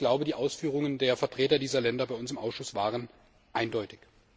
Ich glaube, die Ausführungen der Vertreter dieser Länder bei uns im Ausschuss waren eindeutig.